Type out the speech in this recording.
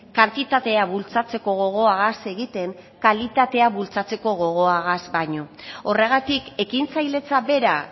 kantitatea bultzatzeko gogoagaz egiten kalitatea bultzatzeko gogoagaz baino horregatik ekintzailetza bera